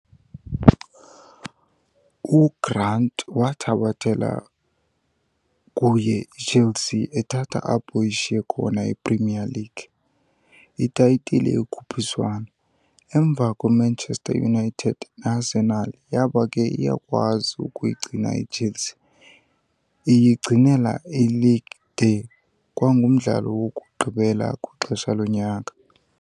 UGrant wathabathela kuye iChelsea ethatha apho ishiye khona i-Premier League "Itayitile yokhuphiswano" emva kweManchester United neArsenal, yaba ke iyakwazi ukuyigcina iChelsea iyigcinela "ileague" de kwangumdlalo wokugqibela kwixesha lonyaka.